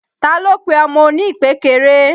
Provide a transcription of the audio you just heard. Ta ló pe ọmọ oní ìpékeré?